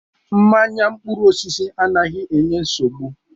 Mmanya mkpụrụ osisi anaghị enye nsogbu.